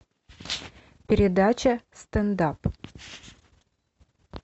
передача стендап